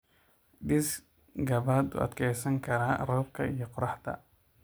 Dhis gabaad u adkeysan kara roobka iyo qoraxda xooggan.